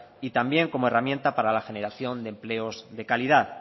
y también como herramienta para la generación de empleos de calidad